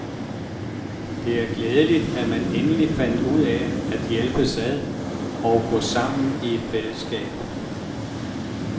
Det er glædeligt, at man endelig fandt ud af at hjælpes ad og gå sammen i et fællesskab.